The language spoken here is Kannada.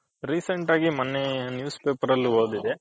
recent ಆಗಿ ಮೊನ್ನೆ newspaper ಅಲ್ಲಿ ಓದ್ದೆ